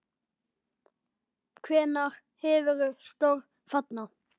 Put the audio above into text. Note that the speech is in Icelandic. Hvenær hefurðu störf þarna?